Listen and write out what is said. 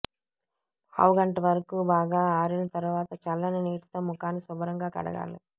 పావు గంట వరకు బాగా ఆరిన తరువాత చల్లని నీటితో ముఖాన్ని శుభ్రంగా కడగాలి